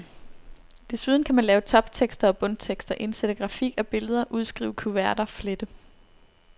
Desuden kan man lave toptekster og bundtekster, indsætte grafik og billeder, udskrive kuverter, flette.